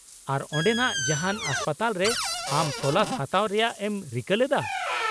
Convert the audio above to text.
-ᱟᱨ ,ᱚᱸᱰᱮᱱᱟᱜ ᱡᱟᱦᱟᱱ ᱦᱟᱥᱯᱟᱛᱟᱞ ᱨᱮ ᱟᱢ ᱛᱚᱞᱟᱥ ᱦᱟᱛᱟᱣ ᱨᱮᱭᱟᱜ ᱮᱢ ᱨᱤᱠᱟᱹ ᱞᱮᱫᱟ ?